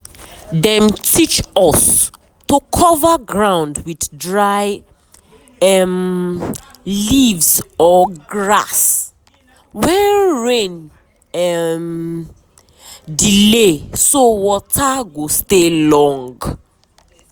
dem teach us to cover ground with dry um leaves or grass um when rain um delay so water go stay long.